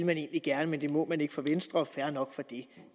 man egentlig gerne men det må man ikke for venstre og fair nok det